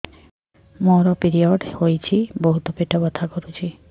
ମୋର ପିରିଅଡ଼ ହୋଇଛି ବହୁତ ପେଟ ବଥା କରୁଛି